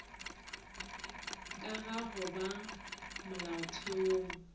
ka ga go ba molaotheong